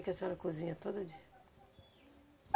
O que a senhora cozinha todo dia?